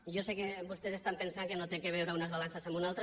i jo sé que vostès estan pensant que no té a veure unes balances amb unes altres